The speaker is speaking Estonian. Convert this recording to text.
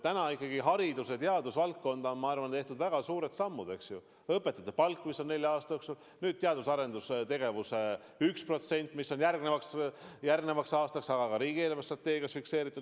Seni ikkagi haridus- ja teadusvaldkonnas on tehtud minu arvates väga suured sammud: õpetajate palk, mis on nelja aasta jooksul kasvanud, nüüd teadus- ja arendustegevusse 1% SKP-st, mis järgmiseks aastaks, aga ka riigi eelarvestrateegias on fikseeritud.